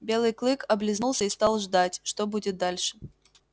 белый клык облизнулся и стал ждать что будет дальше